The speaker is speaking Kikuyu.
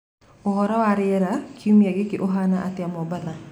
ūhoro wa riera kiūmia gīki ūhana atia mombasa